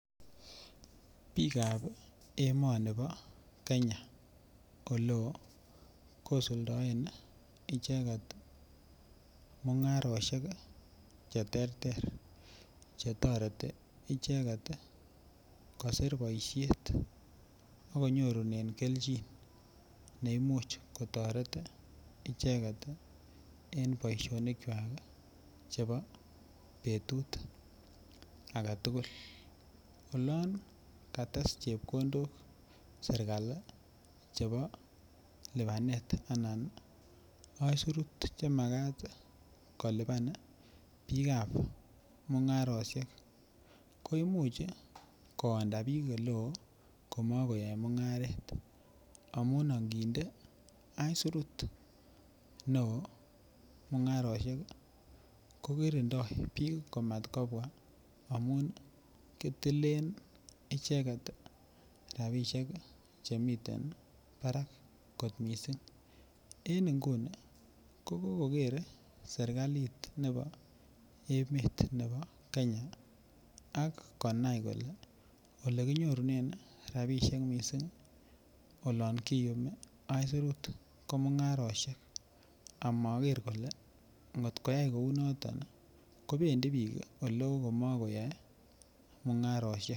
Biikab emonibo Kenya oleo kosuldaen icheget mungarosiek cheterter chetoreti icheget kosir boisiet ak konyorunen keljin ne imuch kotoret icheget en boisionik kwak chebo betut agetugul. Olan kates chepkondok sergali chebo lubanet anan aisirut chemagat koliban biikabmungarosiek koimuch koonda biik oleoo koonda komakoyae mungaret amun anginde aisirut neo mungarosiek ko kirindoi biik komat kobwa amun kitilen icheget rapisiek chemiten barak kot mising. En inguni ko kokoker sergalit nebo emet nebo Kenya ak konai kole olekinyorunen rapisiek mising olan kiyumj aisirut ko mungarosiek amaker kole ngotkoyai kou noto kobendi biik oleo komakoyae mungarosiek.